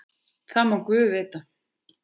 Það má guð vita.